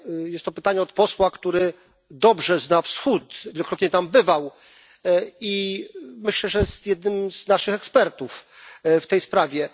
Jest to pytanie od posła, który dobrze zna Wschód, wielokrotnie tam bywał i myślę, że jest jednym z naszych ekspertów w tej sprawie.